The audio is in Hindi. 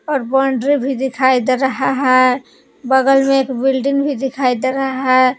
और बाउंड्री भी दिखाई दे रहा है बगल में एक बिल्डिंग भी दिखाई दे रहा है।